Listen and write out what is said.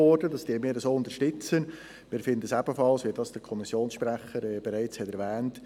Es gibt ja auch noch die Y-Lösung der Autobahnpolitik in Zürich, die schlussendlich gescheitert ist.